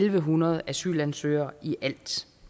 en hundrede asylansøgere i alt